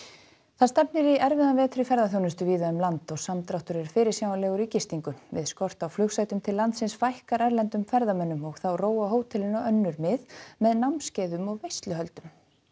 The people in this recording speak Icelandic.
það stefnir í erfiðan vetur í ferðaþjónustu víða um land og samdráttur er fyrirsjáanlegur í gistingu við skort á flugsætum til landsins fækkar erlendum ferðamönnum og þá róa hótelin á önnur mið með námskeiðum og veisluhöldum